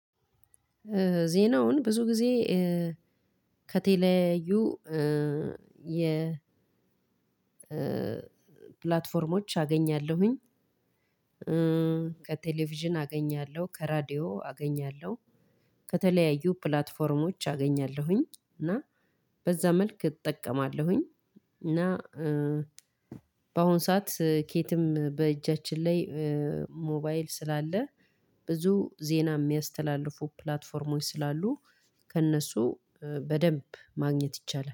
ዜናውን ብዙ ጊዜ ከቴሌያዩ የ ፕላትፎርሞች አገኛለሁኝ ከቴሌቪዥን አገኛለሁ ከራዲዮ አገኛለሁ ከተለያዩ ፕላትፎርሞች አገኛለሁኝ እና በዛ መልክ እጠቀማለሁኝ። እና በአሁን ሰዓት ከየትም በእጃችን ላይ ሞባይል ስላለ ብዙ ዜና የሚያስተላልፉ ፕላትፎርሞች ስላሉ ከእነሱ በደንብ ማግኘት ይቻላል